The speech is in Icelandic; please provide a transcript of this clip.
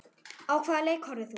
Á hvaða leik horfðir þú?